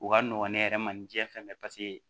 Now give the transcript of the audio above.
O ka nɔgɔn ne yɛrɛ ma ni diɲɛ fɛn bɛɛ